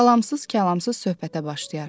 Salamsız-kəlamsız söhbətə başlayar.